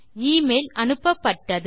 email அனுப்பப்பட்டது